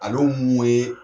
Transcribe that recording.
Alo mun ye